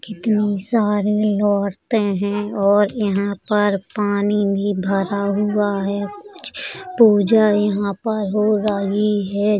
कितनी सारी औरतें हैं और यहाँ पर पानी भी भरा हुआ है। कुछ पूजा यहाँ पर हो रही है।